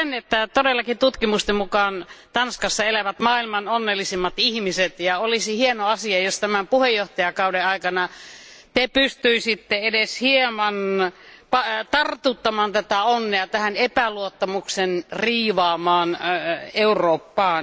sanoa sen, että todellakin tutkimusten mukaan Tanskassa asuvat maailman onnellisimmat ihmiset ja olisi hieno asia, jos tämän puheenjohtajakauden aikana te pystyisitte edes hieman tartuttamaan tätä onnea tähän epäluottamuksen riivaamaan Eurooppaan.